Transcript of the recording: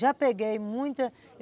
Já peguei muita.